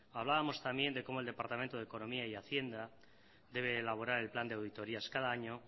hablábamos también de como el departamento de economía y hacienda debe elaborar el plan de auditorias cada año